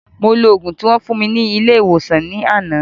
Mo lo ògùn tí wón fún mi ní ilé ìwòsàn ní àná